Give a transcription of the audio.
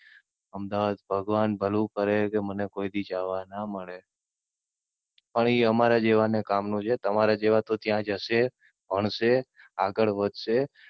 અમદાવાદ ભગવાન ભલું કરે કે મને કોઈ દી જવા ના મળે. પણ એ અમારા જેવા ને કામ નું છે. તારા જેવા તો ત્યાં જશે, ભણશે, આગળ વધશે.